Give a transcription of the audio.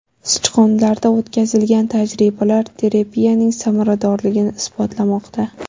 Sichqonlarda o‘tkazilgan tajribalar terapiyaning samaradorligini isbotlamoqda .